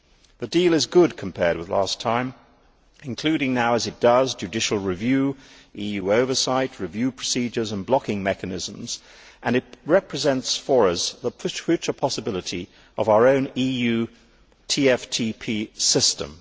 The deal is good compared with last time, including, as it does now, a judicial review, EU oversight, review procedures and blocking mechanisms. It represents for us the future possibility of our own EU TFTP system.